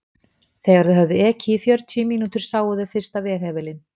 Þegar þau höfðu ekið í fjörutíu mínútur sáu þau fyrsta veghefilinn.